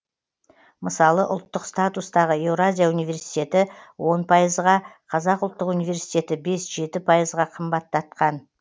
мысалы ұлттық статустағы еуразия университеті он пайызға қазақ ұлттық университеті бес жеті пайызға қымбаттатқан